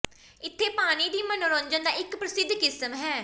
ਇੱਥੇ ਪਾਣੀ ਦੀ ਮਨੋਰੰਜਨ ਦਾ ਇੱਕ ਪ੍ਰਸਿੱਧ ਕਿਸਮ ਹੈ